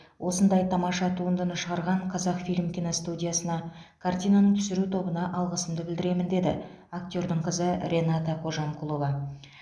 осындай тамаша туындыны шығарған қазақфильм киностудиясына картинаның түсіру тобына алғысымды білдіремін деді актердің қызы рената қожамқұлова